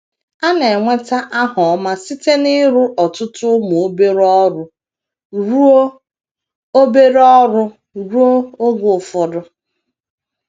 A na - enweta aha ọma site n’ịrụ ọtụtụ ụmụ obere ọrụ ruo obere ọrụ ruo oge ụfọdụ.